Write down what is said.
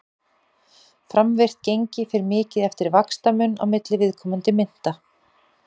Framvirkt gengi fer mikið eftir vaxtamun á milli viðkomandi mynta.